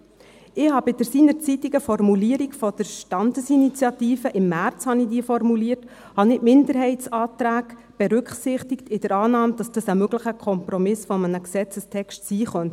Ich berücksichtigte seinerzeit bei der Formulierung der Standesinitiative – ich formulierte diese im März – die Minderheitsanträge, in der Annahme, dass dies ein möglicher Kompromiss eines Gesetzestexts sein könnte.